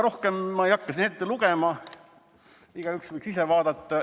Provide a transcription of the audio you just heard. " Rohkem ma ei hakka siin ette lugema, igaüks võiks ise vaadata.